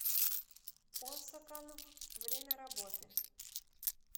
осаканв время работы